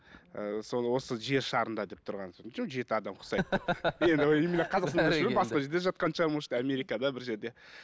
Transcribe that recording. ы сол осы жер шарында деп тұрған сол жеті адам ұқсайды деп енді именно қазақстанда емес шығар басқа жерде жатқан шығар может америкада бір жерде